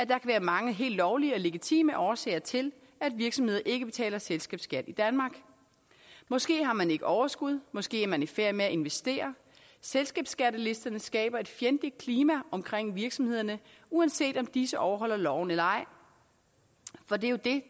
kan være mange helt lovlige og legitime årsager til at virksomheder ikke betaler selskabsskat i danmark måske har man ikke overskud måske er man i færd med at investere selskabsskattelisterne skaber et fjendligt klima omkring virksomhederne uanset om disse overholder loven eller ej for det er jo det